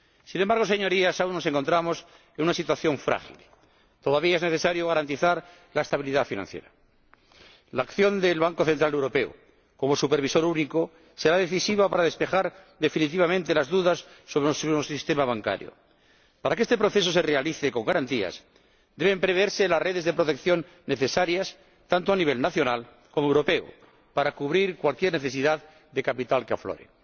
Sin embargo, Señorías, ahora nos encontramos en una situación frágil. Todavía es necesario garantizar la estabilidad financiera. La acción del Banco Central Europeo como supervisor único será decisiva para despejar definitivamente las dudas sobre nuestro sistema bancario. Para que este proceso se realice con garantías deben preverse las redes de protección necesarias tanto a nivel nacional como europeo, para cubrir cualquier necesidad de capital que aflore.